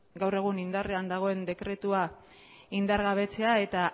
gaur egun indarrean dagoen dekretua indargabetzea eta